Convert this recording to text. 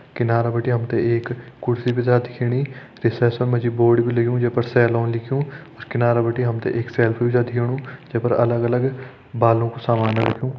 किनार बटि हम तें एक कुर्सी भी छ दिखेणी रिसेप्शन मा जी बोर्ड भी लग्युं जे पर सैलून लिख्युं किनार बति हम तें एक सेल्फ भी दिखेणु जे पर अलग अलग बालों कु सामान रख्युं।